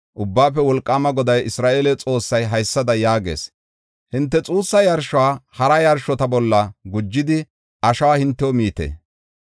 Ubbaafe Wolqaama Goday, Isra7eele Xoossay haysada yaagees: “Hinte xuussa yarshuwa hara yarshota bolla gujidi, ashuwa hintew miite.